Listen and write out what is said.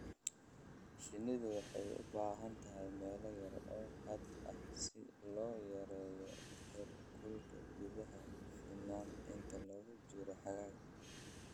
Shinnidu waxay u baahan tahay meelo yar oo hadh ah si loo yareeyo heerkulka gudaha finan inta lagu jiro xagaaga.